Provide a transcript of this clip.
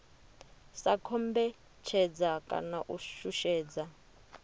sa kombetshedza kana u shushedza